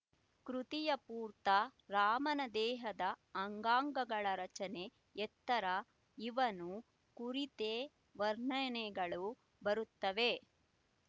ಕೃತಿಯ ಪೂರ್ತ ರಾಮನ ದೇಹದ ಅಂಗಾಂಗಗಳ ರಚನೆ ಎತ್ತರ ಇವನ್ನು ಕುರಿತೇ ವರ್ಣನೆಗಳು ಬರುತ್ತವೆ